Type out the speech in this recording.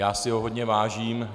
Já si ho hodně vážím.